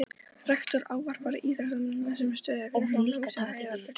Rektor ávarpar íþróttamennina, sem stóðu fyrir framan húsið í heiðursfylkingu.